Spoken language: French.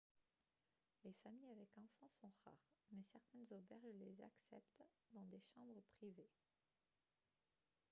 les familles avec enfants sont rares mais certaines auberges les acceptent dans des chambres privées